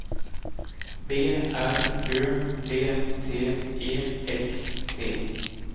B R Ö D T E X T